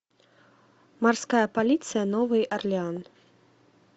морская полиция новый орлеан